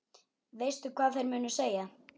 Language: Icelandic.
Veistu hvað þeir munu segja?